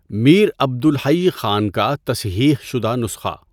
میر عبد الحیّ خان کا تصحیح شدہ نسخہ